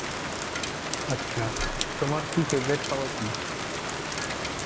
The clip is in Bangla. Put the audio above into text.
আচ্ছা. তোমার কি favorite খাবার কি?